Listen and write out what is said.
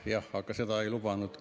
Jah, aga seda ei lubanud ...